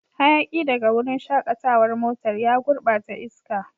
Hayaki daga wurin shakatawar motar ya gurbata iska.